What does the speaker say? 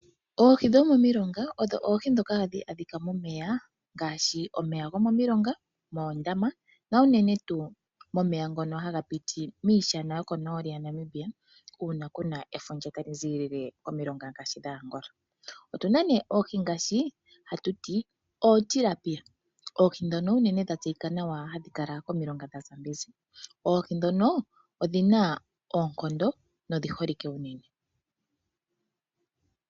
Oohi dhomomilonga odho oohi dhoka hadhi adhika momeya ngaashi omilonga ,oondama na unene tuu momeya ngono haga piti miishana yokonooli yaNamibia uuna kuna efundja taga zi koAngola. Oohi ngaashi otilapia, oohi ndhono dhina oonkondo nodhi holike unene.